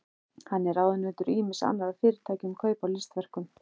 Hann er ráðunautur ýmissa annarra fyrirtækja um kaup á listaverkum.